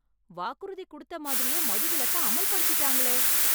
வாக்குறுதி குடுத்த மாதிரியே மதுவிலக்கை அமல் படுத்திட்டாங்களே.